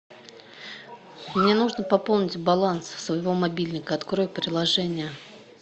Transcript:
мне нужно пополнить баланс своего мобильника открой приложение